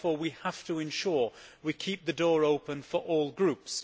Therefore we have to ensure that we keep the door open for all groups.